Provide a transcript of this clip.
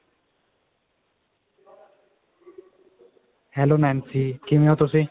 hello Nancy ਕਿਵੇਂ ਹੋ ਤੁਸੀਂ